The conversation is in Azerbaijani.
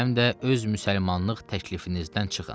Həm də öz müsəlmanlıq təklifinizdən çıxın.